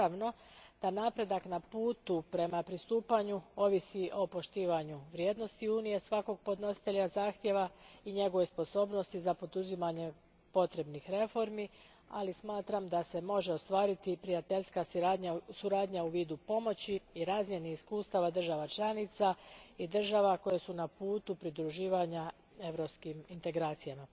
Naravno da napredak na putu prema pristupanju ovisi o poštovanju vrijednosti Unije svakog podnositelja zahtjeva i njegovoj sposobnosti za poduzimanje potrebnih reformi, ali smatram da se može ostvariti prijateljska suradnja u vidu pomoći i razmjene iskustava država članica i država koje su na putu pridruživanja europskim integracijama.